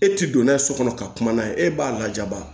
E ti don n'a ye so kɔnɔ ka kuma n'a ye e b'a lajaba